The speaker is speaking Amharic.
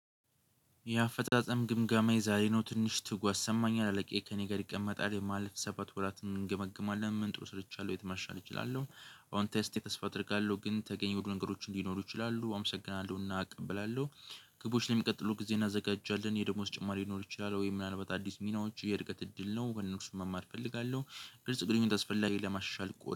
የአፈጣጸም ግምጋማ የዛሬ ነው ትንሽ ትጓዝ ሰማኛል አለቄ ከእኔ ጋር ይቀመጣል የማለፍ ሰባት ወራትን እንገመግማለን ምንጥሩ ስርቻለሁ የተማሻል እችላለሁ። ኦን ቴስት ተስፋ አደርጋለሁ ግን ተገኝቼ ወደ ነገሮች እንዲኖሩ ይችላሉ አመሰግናለሁና እቀበላለሁ። ግቦች ለሚቀጥሉት ጊዜ እናዘጋጃለን የደሞዝ ጭማሪ ሊኖር ይችላል? ወይ ምናልባት አዲስ ሚናዎች የርቀት እድል ነው ወደ እነሱ መማር እፈልጋለሁ። ግልጽ ግንኙነት አስፈላጊ ለማሻሻል ቆል።